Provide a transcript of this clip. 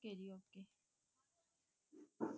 okay ਜੀ okay